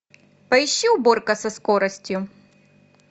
поищи уборка со скоростью